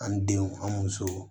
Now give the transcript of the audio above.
An denw an musow